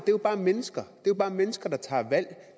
jo bare mennesker det er jo bare mennesker der tager et valg